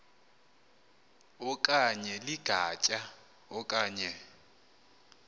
okanye ligatya okanye